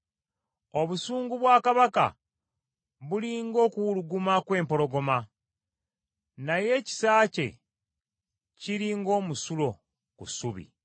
Obusungu bwa kabaka buli ng’okuwuluguma kw’empologoma, naye ekisa kye kiri ng’omusulo ku ssubi.